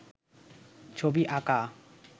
ছবি আঁকা